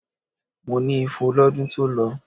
Mo ní ifo lọ́dún tó lọ.